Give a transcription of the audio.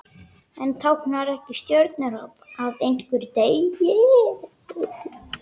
En táknar ekki stjörnuhrap að einhver deyi?